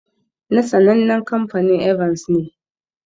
Na sannanen kamfanin "Evans" ne.